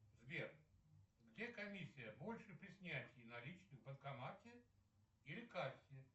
сбер где комиссия больше при снятии наличных в банкомате или кассе